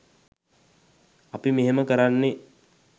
අපි මෙහෙම කරන්නේ